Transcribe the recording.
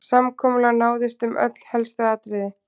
Samkomulag náðist um öll helstu atriði